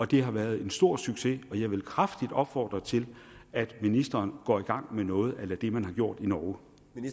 det har været en stor succes og jeg vil kraftigt opfordre til at ministeren går i gang med noget a la det man har gjort i norge